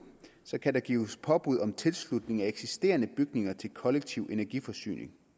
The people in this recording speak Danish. kan der gives påbud om tilslutning af eksisterende bygninger til kollektiv energiforsyning